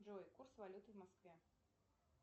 джой курс валюты в москве